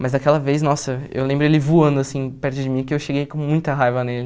Mas daquela vez, nossa, eu lembro ele voando, assim, perto de mim, que eu cheguei com muita raiva nele.